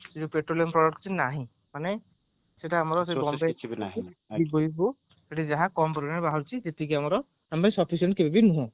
କିଛି ବି ନାହିଁ ମାନେ ସେଇଟା ଆମର ସେତୁ ଯାହା କମ ପରିମାଣରେ ବାହାରୁଛି ସେତିକି ଆମର sufficient ନୁହଁ